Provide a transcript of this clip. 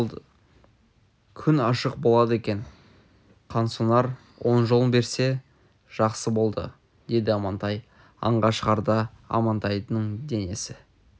күн ашық болады екен қансонар оң жолын берсе жақсы болды деді амантай аңға шығарда амантайдың денесі